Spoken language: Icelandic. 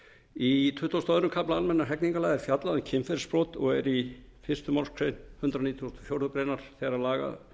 í tuttugasta og öðrum kafla almennra hegningarlaga er fjallað um kynferðisbrot og er fyrsta málsgrein hundrað nítugasta og fjórðu grein þeirra laga